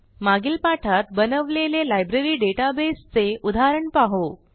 मागील पाठात बनवलेले लायब्ररी डेटाबेस चे उदाहरण पाहू